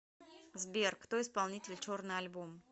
сбер кто исполнитель черный альбом